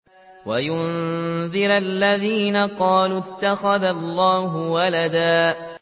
وَيُنذِرَ الَّذِينَ قَالُوا اتَّخَذَ اللَّهُ وَلَدًا